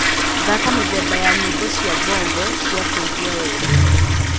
thaka mithemba ya nyĩmbo cĩa bongo cĩa kũĩgwa wendo